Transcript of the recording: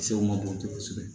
Sɛw ma bon kosɛbɛ